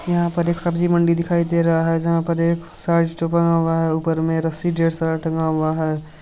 यहा पर एक सब्जी मंडी दिखाई दे रहा है जहा पर एक ऊपर में रस्सी ढ़ेर सारा टंगा हुआ है।